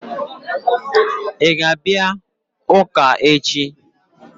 Ị ga-abịa ụka echi?